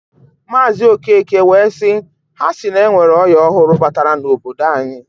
Maazi Okeke wee siː"Ha si na enwere oya ọhụrụ batara n'obodo anyi.